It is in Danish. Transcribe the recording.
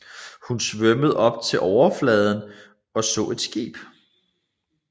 Hun svømmede op til overfladen og så et skib